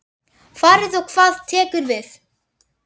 Farið og hvað tekur við?